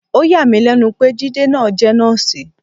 Ó yà mí lẹ́nu pé Jide náà jẹ́ nọ́ọ̀sì.